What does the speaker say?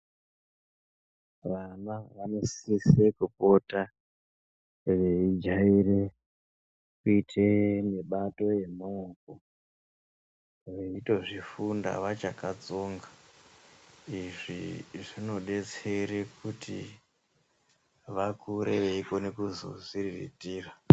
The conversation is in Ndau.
Vanav vanosise kupota veijare kuite mibato yemaoko veitozvifunda vachakatsonga, izvi zvinodetseredza kuti vakure veikone kuzozviriritira.